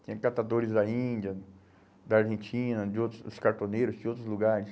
Tinha catadores da Índia, da Argentina, de outros, os cartoneiros, de outros lugares.